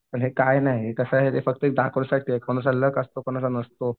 पण हे काय नाही हे कसं आहे ते फक्त कोणाचा असतो कोणाचा नसतो.